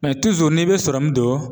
n'i bi sɔrɔmu don